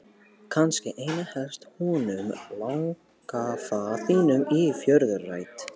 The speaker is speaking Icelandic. Kannski einna helst honum langafa þínum í föðurætt.